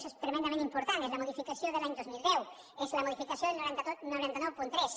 això és tremendament important és la modificació de l’any dos mil deu és la modificació del nou cents i noranta tres